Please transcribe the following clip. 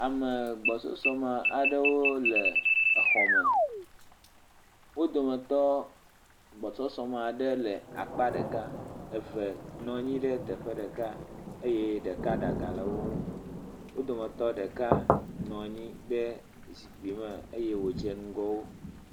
Ame gbɔsusume aɖewo le xɔme. Wo dometɔ gbɔsɔsɔ aɖe le akpa ɖeka. Eve nɔ anyi ɖe teƒe ɖeka eye ɖeka ɖe aga le wo ŋu. Wo dometɔ ɖeka nɔ anyi ɖe zikpui me eye wodze ŋgɔwo.